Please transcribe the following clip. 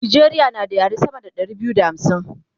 Najeriya na da yare sama da Ɗari biyu da hamsin